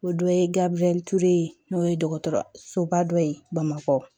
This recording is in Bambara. O dɔ ye gabiriyɛli ture ye n'o ye dɔgɔtɔrɔsoba dɔ ye bamakɔ